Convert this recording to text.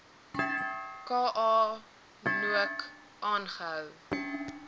ka nook aangehou